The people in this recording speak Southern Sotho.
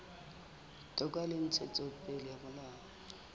toka le ntshetsopele ya molao